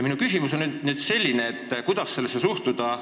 Mu küsimus ongi, kuidas sellesse suhtuda.